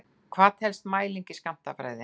Hvað telst mæling í skammtafræði?